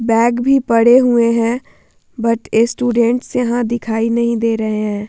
Bag भी पड़े हुए है बट स्टूडेंट्स यहाँ दिखाई नहीं दे रहे है।